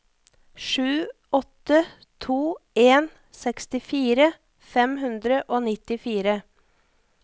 sju åtte to en sekstifire fem hundre og nittifire